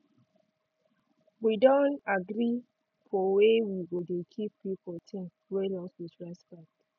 wi don agree for way wi go dey keep people ting wey lost wit respect